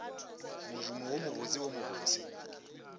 modumo wo mobotse wo mobose